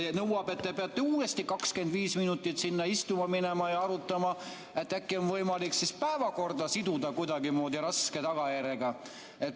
See nõuab, et te peate uuesti 25 minutit sinna istuma minema ja arutama, et äkki on võimalik siis päevakorda siduda kuidagimoodi raske tagajärjega.